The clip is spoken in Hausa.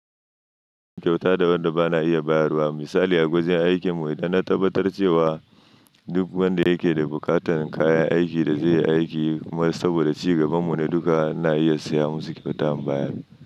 Kyauta da wadda bana iya bayarwa. Misali a gwajin aikinmu idan na tabbatar cewa duk wanda yake da bukatan kayan aikin da zai yi aiki kuma saboda ci gabanmu ne duka na iya saya musu kafatan baya min.